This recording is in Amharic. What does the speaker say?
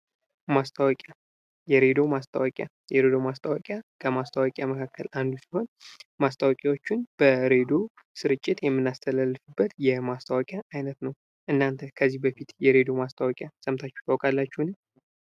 ማስታወቂያ የሬዲዮ ማስታወቂያ ይህ ማስታወቂያ ከማስታወቂያ መካከል አንዱ ሲሆን ማስታወቂያዎችን በሬድዮ ስርጭት የምናስተላልፍበት የማስታወቂያ አይነት ነው። እናንተ ከዚህ በፊት የሬዲዮ ማስታወቂያዎች ሰምታችሁ ታውቃላችሁን?